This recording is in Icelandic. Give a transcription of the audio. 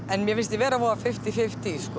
en mér finnst ég vera fimmtíu fimmtíu